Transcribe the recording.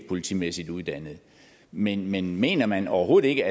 politimæssigt uddannet men men mener man overhovedet ikke